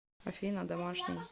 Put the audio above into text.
афина домашний